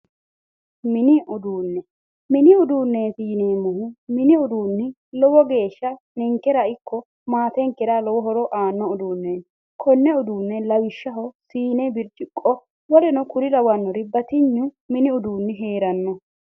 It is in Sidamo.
Mini uduune, mini uduuneti yinneemmori mini uduuni ninkera ikko maatenkera lowo horo aano uduuneti, konne uduune lawishshaho siine, birciqo woluno kuri lawanori batinyu mini uduuni heerano.